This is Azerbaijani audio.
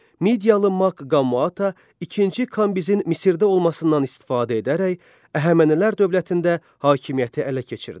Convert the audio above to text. Midiyalı Mak Qamaata ikinci Kambizin Misirdə olmasından istifadə edərək Əhəmənilər dövlətində hakimiyyəti ələ keçirdi.